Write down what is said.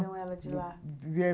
Tiraram ela de lá?